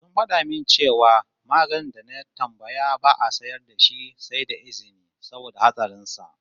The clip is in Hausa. Suna fada min cewa maganin da na tambaya ba'a sayar da shi sai da izini saboda hatsarin sa